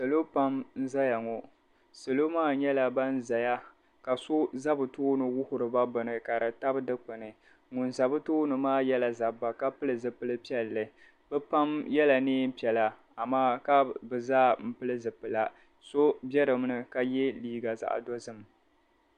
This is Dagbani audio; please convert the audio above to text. Salo pam n-zaya ŋɔ. Salo maa nyɛla ban zaya ka so za bɛ tooni wuhiri ba bini ka di tabi dikpini ŋun za bɛ tooni maa yɛla zabba ka pili zipil' piɛlli. Bɛ pam yɛla neem' piɛla amaa ka bɛ zaa m-pili zipila. So be dinni ka ye liiga zaɣ' dozim.